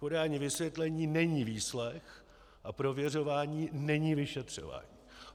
Podání vysvětlení není výslech a prověřování není vyšetřování.